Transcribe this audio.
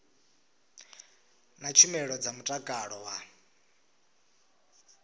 na tshumelo dza mutakalo wa